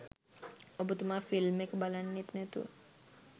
ඔබතුමා ෆිල්ම් එක බලන්නෙත් නැතුව